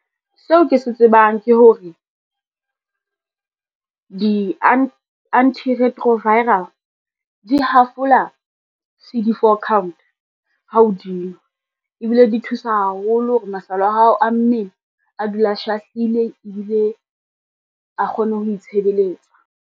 Seo ke se tsebang ke hore, di-antiretroviral di hafola C_D4 count hao dinwa, ebile di thusa haholo hore masole a hao a mmele a dule a shahlile ebile a kgone ho itshebeletsa.